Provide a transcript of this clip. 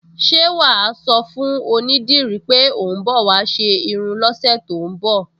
Ṣé wà á sọ fún onídìrí pé ò ń bọ̀ wá ṣe irun lọ́sẹ̀ tó ń bọ̀?